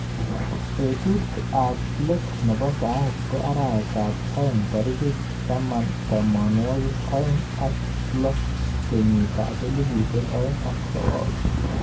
Betut ab let nebo saet ko arawet ab aeng tarik tamanwakik aeng ak lo kenyit ab elibu aeng ak sokol.